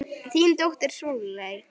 Þín dóttir Sóley.